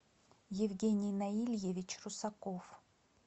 евгений наильевич русаков